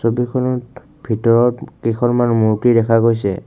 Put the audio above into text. ছবিখনত ভিতৰত কেইখনমান মূৰ্ত্তি দেখা গৈছে।